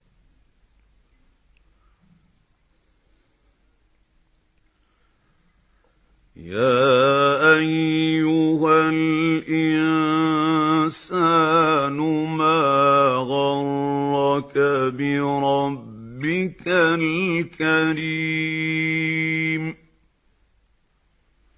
يَا أَيُّهَا الْإِنسَانُ مَا غَرَّكَ بِرَبِّكَ الْكَرِيمِ